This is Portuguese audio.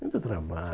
Muito